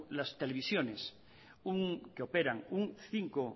las televisiones que operan un cinco